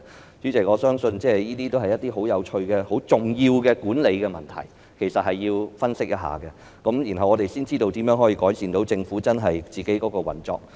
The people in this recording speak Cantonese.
代理主席，我相信這些亦是十分有趣和重要的管理問題，其實必須加以分析，然後才會知道如何能夠改善政府的運作。